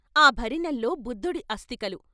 ఆ భరిణెల్లో బుద్ధుడి అస్థికలు.